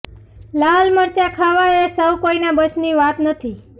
લાલ મરચા ખાવા એ સૌ કોઈના બસની વાત નથી